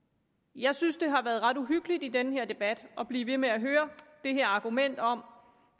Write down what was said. jeg synes det har været ret uhyggeligt i den her debat at blive ved med at høre det her argument om